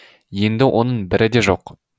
енді оның бірі де жоқ